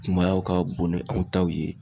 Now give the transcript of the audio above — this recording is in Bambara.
Kumayaw ka bon ni aw taw ye